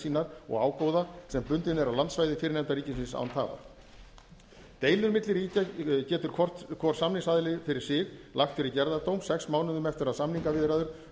sínar og ágóða sem bundinn er á landsvæði fyrrnefnda ríkisins án tafar deilur milli ríkja getur hvor samningsaðili fyrir sig lagt fyrir gerðardóm sex mánuðum eftir að samningaviðræður